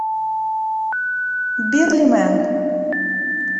бирлимэн